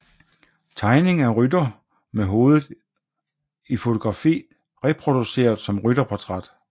Tegning af rytter med hovedet i fotografi reproduceret som rytterportræt